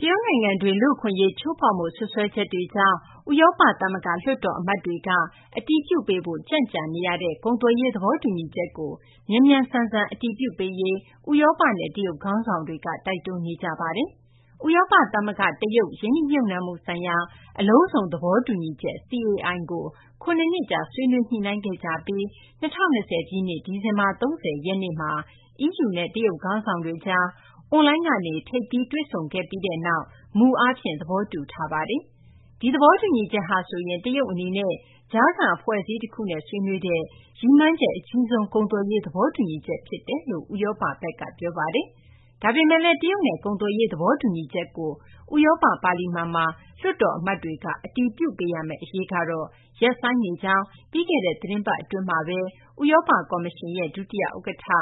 တရုတ်နိုင်ငံတွင်း လူ့အခွင့်အရေး ချိုးဖောက်မှု စွပ်စွဲချက်တွေကြောင့် ဥရောပ သမဂ္ဂ လွှတ်တော် အမတ်တွေက အတည်ပြုပေးဖို့ ကြန့်ကြာနေရတဲ့ ကုန်သွယ်ရေး သဘောတူညီချက်ကို မြန်မြန်ဆန်ဆန် အတည်ပြုပေးရေး ဥရောပနဲ့ တရုတ် ခေါင်းဆောင်တွေက တိုက်တွန်းနေကြပါတယ်။ ဥရောပသမဂ္ဂ- တရုတ် ရင်းနှီးမြှုပ်နှံမှု ဆိုင်ရာ အလုံးစုံ သဘောတူညီချက်- CAI ကို ၇ နှစ်ကြာ ဆွေးနွေး ညှိနှိုင်းခဲ့ကြပြီး ၂၀၂၀ ပြည့်နှစ် ဒီဇင်ဘာ ၃၀ ရက်နေ့မှာ EU နဲ့ တရုတ် ခေါင်းဆောင်တွေကြား အွန်လိုင်းကနေ ထိပ်သီး တွေ့ဆုံပြီးနောက် မူ အားဖြင့် သဘောတူထားတာပါ။ ဒီသဘောတူညီချက်ဟာဆိုရင် တရုတ် အနေနဲ့ ကြားခံ အဖွဲ့အစည်းတခုနဲ့ ဆွေးနွေးတဲ့ ရည်မှန်းချက် အကြီးဆုံး ကုန်သွယ်ရေး သဘောတူညီချက် ဖြစ်တယ်လို့ ဥရောပဘက်က ပြောပါတယ်။ ဒါပေမယ့်လည်း တရုတ်နဲ့ ကုန်သွယ်ရေး သဘောတူညီချက်ကို ဥရောပ ပါလီမန်မှာ လွှတ်တော် အမတ်တွေက အတည်ပြုပေးရမယ့် အရေးကတော့ ရပ်ဆိုင်းနေကြောင်း ပြီးခဲ့တဲ့ သီတင်းပတ် အတွင်းမှာဘဲ ဥရောပ ကော်မရှင်ရဲ့ ဒုတိယ ဥက္ကဌ